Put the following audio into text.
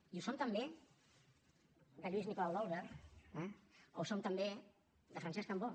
i ho som també de lluís nicolau i d’olwer eh o ho som també de francesc cambó